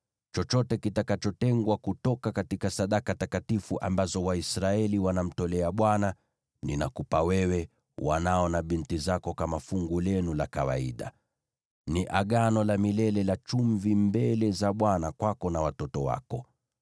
Chochote kitakachotengwa kutoka sadaka takatifu ambazo Waisraeli wanamtolea Bwana , ninakupa wewe, wanao na binti zako kama fungu lenu la kawaida. Ni Agano la milele la chumvi mbele za Bwana kwako na watoto wako.”